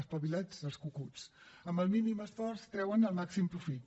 espavilats els cucuts amb el mínim esforç treuen el màxim profit